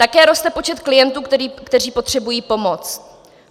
Také roste počet klientů, kteří potřebují pomoc.